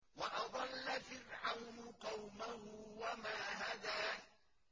وَأَضَلَّ فِرْعَوْنُ قَوْمَهُ وَمَا هَدَىٰ